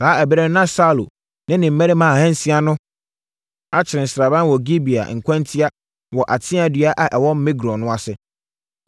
Saa ɛberɛ no na Saulo ne ne mmarima ahansia no akyere sraban wɔ Gibea nkwantia wɔ ateaa dua a ɛwɔ Migron no ase.